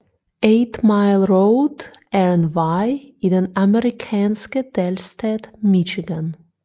8 Mile Road er en vej i den amerikanske delstat Michigan